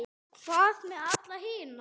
Hvað með alla hina?